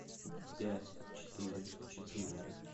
пять четыре четыре